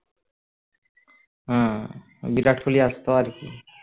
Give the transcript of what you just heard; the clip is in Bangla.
হম বিরাট কোহলি আসার পর